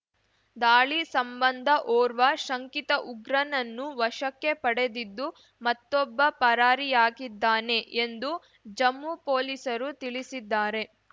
ದಾಳಿ ಸಂಬಂಧ ಓರ್ವ ಶಂಕಿತ ಉಗ್ರನನ್ನು ವಶಕ್ಕೆ ಪಡೆದಿದ್ದು ಮತ್ತೊಬ್ಬ ಪರಾರಿಯಾಗಿದ್ದಾನೆ ಎಂದು ಜಮ್ಮು ಪೊಲೀಸರು ತಿಳಿಸಿದ್ದಾರೆ